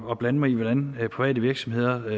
at blande mig i hvordan private virksomheder